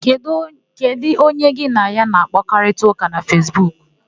Kedụ onye gị na ya na-àkpárịtaụka na Fesbuku?